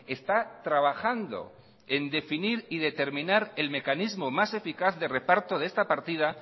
está trabajando en definir y determinar el mecanismo más eficaz de reparto de esta partida